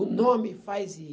O nome faz ir.